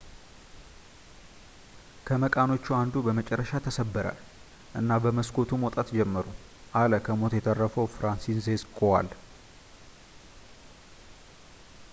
ከመቃኖቹ አንዱ በመጨረሻ ተሰበረ እና በመስኮቱ መውጣት ጀመሩ አለ ከሞት የተረፈው ፍራንሲስዜክ ኮዋል